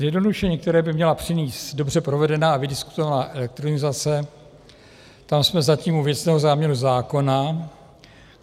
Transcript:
Zjednodušení, které by měla přinést dobře provedená a vydiskutovaná elektronizace, tam jsme zatím u věcného záměru zákona.